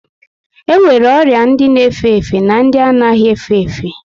E nwere ọrịa ndị na efe efe na ndị anaghị efe efe